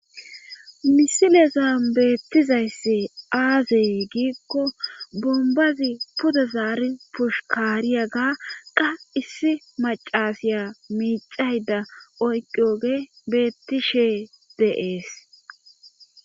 Misilezan beettizayssi aazee giikko bombazi puda zaari pushukaariya ga qa issi macasiya miixayda oyqioge beettishe deees.